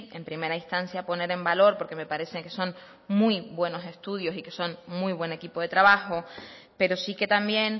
en primera instancia poner en valor porque me parece que son muy buenos estudios y que son muy buen equipo de trabajo pero sí que también